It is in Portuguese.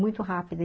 muito rápida.